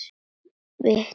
Vittu til!